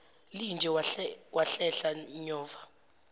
linje wahlehla nyova